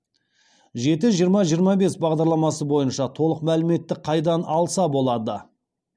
жеті жиырма жиырма бес бағдарламасы бойынша толық мәліметті қайдан алса болады